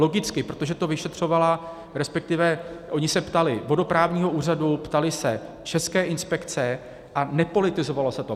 Logicky, protože to vyšetřovala, respektive oni se ptali vodoprávního úřadu, ptali se České inspekce a nepolitizovalo se to.